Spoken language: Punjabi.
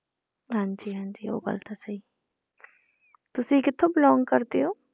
ਹਾਂਜੀ ਹਾਂਜੀ ਉਹ ਗੱਲ ਤਾਂ ਸਹੀ ਤੁਸੀਂ ਕਿੱਥੋਂ belong ਕਰਦੇ ਹੋ?